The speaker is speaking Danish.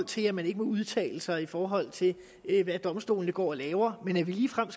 til at man ikke må udtale sig i forhold til hvad domstolene går og laver men at det ligefrem